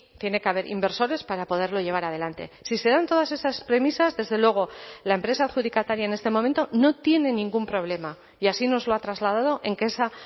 tiene que haber inversores para poderlo llevar adelante si se dan todas esas premisas desde luego la empresa adjudicataria en este momento no tiene ningún problema y así nos lo ha trasladado en que esa